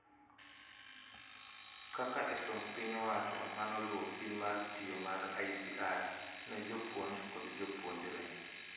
Kaka e somb piny owacho manoluo pim mar tiyo mar IVR ne jopuonj kod jopuonjre